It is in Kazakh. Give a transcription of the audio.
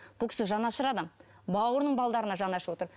бұл кісі жанашыр адам бауырының жаны ашып отыр